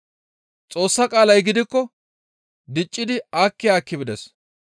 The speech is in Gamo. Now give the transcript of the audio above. Xoossa qaalay gidikko diccidi aakki aakki bides.